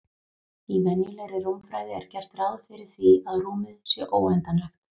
Í venjulegri rúmfræði er gert ráð fyrir því að rúmið sé óendanlegt.